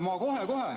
Ma kohe-kohe.